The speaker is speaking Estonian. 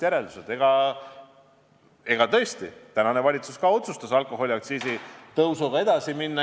Tõesti, ka tänane valitsus otsustas alkoholiaktsiisi tõusuga edasi minna.